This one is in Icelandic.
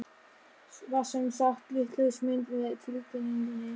Var sem sagt vitlaus mynd með tilkynningunni?